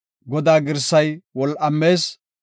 Godaa girsay wol7amees.